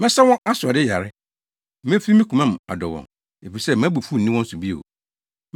“Mɛsa wɔn asoɔden yare. Mefi me koma mu adɔ wɔn, efisɛ mʼabufuw nni wɔn so bio.